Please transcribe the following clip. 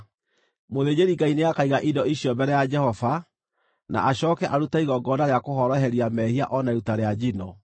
“ ‘Mũthĩnjĩri-Ngai nĩakaiga indo icio mbere ya Jehova, na acooke arute igongona rĩa kũhoroheria mehia o na iruta rĩa njino.